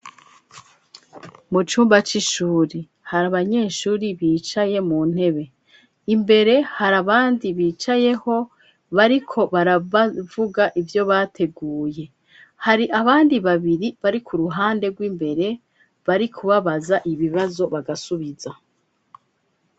Mu cumba c'ishuri, hari abanyeshuri bicaye mu ntebe, imbere hari abandi bicayeho bariko baravuga ivyo bateguye, hari abandi babiri bari k'uruhande rw'imbere bariko babaza ibibazo bagasubiza.